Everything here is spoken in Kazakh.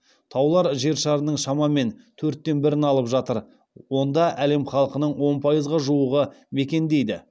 таулар жер шарының шамамен төрттен бірін алып жатыр онда әлем халқының он пайызға жуығы мекендейді